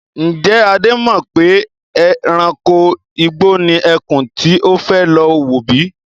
Ń jẹ́ Adé mọ pè ẹranko igbó ni ẹkún tí ó fẹ́ lọ wò bíi?